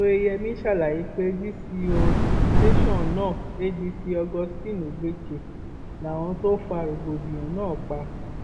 oyeyèmí ṣàlàyé pé dco tẹsán náà adc augustine ogbeche làwọn tó fa rògbòdìyàn náà pa